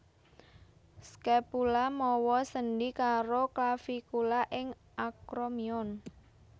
Scapula mawa sendhi karo clavicula ing acromion